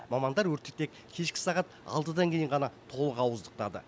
мамандар өртті тек кешкі сағат алтыдан кейін ғана толық ауыздықтады